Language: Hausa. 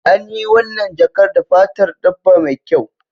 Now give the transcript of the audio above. An yi wannan jakar da fatar dabba mai kyau